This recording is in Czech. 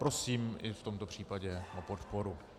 Prosím i v tomto případě o podporu.